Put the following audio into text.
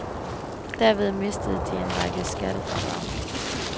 Derved mistede de en række skattefradrag.